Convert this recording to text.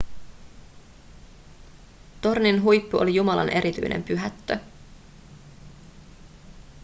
tornin huippu oli jumalan erityinen pyhättö